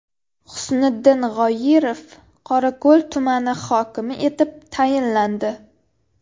Husniddin G‘oyirov Qorako‘l tumani hokimi etib tayinlandi.